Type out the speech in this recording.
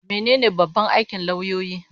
Mene ne babban aikin lauyoyi?